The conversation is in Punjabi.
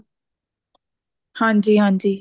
ਹਾਂਜੀ ਹਾਂਜੀ